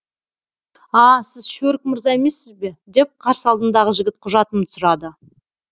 а сіз шөрік мырза емессіз бе деп қарсы алдымдағы жігіт құжатымды сұрады